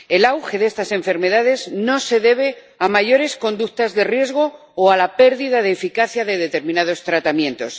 El auge de estas enfermedades no se debe a más conductas de riesgo o a la pérdida de eficacia de determinados tratamientos.